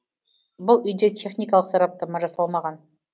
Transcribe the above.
бұл үйде техникалық сараптама жасалмаған